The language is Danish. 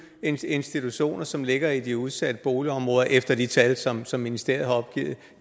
institutioner som ligger i de udsatte boligområder efter de tal som som ministeriet har opgivet